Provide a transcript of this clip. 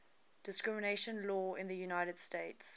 discrimination law in the united states